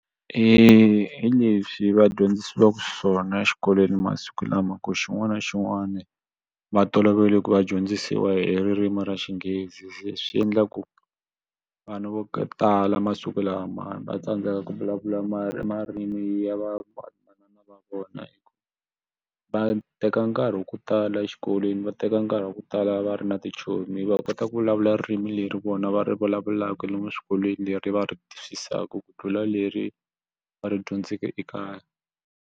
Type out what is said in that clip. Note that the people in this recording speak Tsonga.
Hi leswi va dyondzisiwaka swona exikolweni masiku lama ku xin'wana na xin'wana va tolovele ku va dyondzisiwa hi ririmi ra Xinghezi swi endla ku vanhu vo tala masiku lamawani va tsandzeka ku vulavula marimi ya vamanana va vona hi ku va teka nkarhi wa ku tala exikolweni va teka nkarhi wa ku tala va ri na tichomi va kota ku vulavula ririmi leri vona va ri vulavulaka lomu swikolweni leri va ri twisisaka ku tlula leri va ri dyondzeke ekaya.